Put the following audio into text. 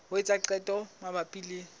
ho etsa qeto mabapi le